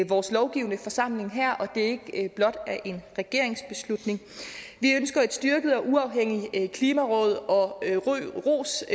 vores lovgivende forsamling her så det ikke blot er en regeringsbeslutning vi ønsker et styrket og uafhængigt klimaråd og ros